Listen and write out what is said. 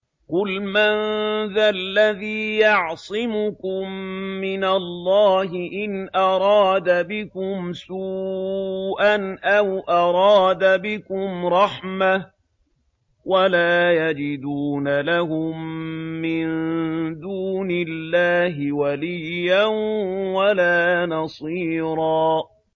قُلْ مَن ذَا الَّذِي يَعْصِمُكُم مِّنَ اللَّهِ إِنْ أَرَادَ بِكُمْ سُوءًا أَوْ أَرَادَ بِكُمْ رَحْمَةً ۚ وَلَا يَجِدُونَ لَهُم مِّن دُونِ اللَّهِ وَلِيًّا وَلَا نَصِيرًا